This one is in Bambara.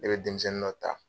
Ne bɛ denmisɛnni dɔ ta.